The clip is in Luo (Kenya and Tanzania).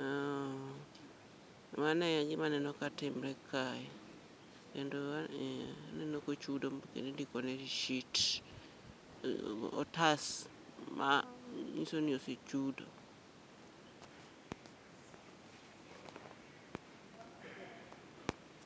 Uuh, mano e gima aneno ka timre kae, kendo aneno ka ochudo indikone risit. Otas ma nyiso ni osechudo.